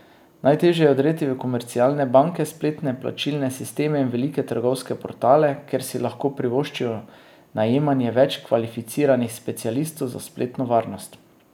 Najtežje je vdreti v komercialne banke, spletne plačilne sisteme in velike trgovske portale, ker si lahko privoščijo najemanje več kvalificiranih specialistov za spletno varnost.